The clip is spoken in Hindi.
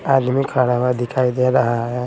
आदमी खरा हुआ दिखाई दे रहा है।